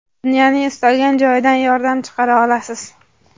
dunyoning istalgan joyidan yordam chaqira olasiz.